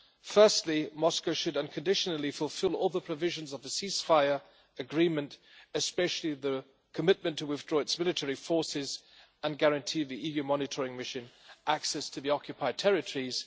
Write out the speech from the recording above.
Firstly, Moscow should unconditionally fulfil all the provisions of the ceasefire agreement, especially the commitment to withdraw its military forces and guarantee the EU Monitoring Mission access to the occupied territories.